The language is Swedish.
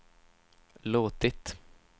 låtit